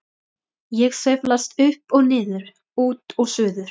Ég sveiflast upp og niður, út og suður.